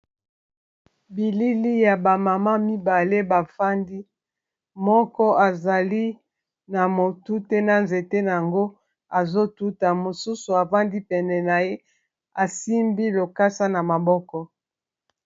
bilili ya bamama mibale bafandi moko azali na motu te na nzete yango azotuta mosusu afandi pene na ye asimbi lokasa na maboko